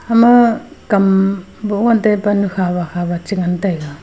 ma kam boh ngan taipa nu hawa hawa cha ngan taga.